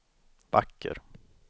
vacker